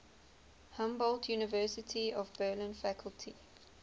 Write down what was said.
humboldt university of berlin faculty